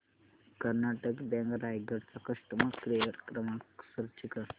Karnataka bank Raigad चा customer care क्रमांक search कर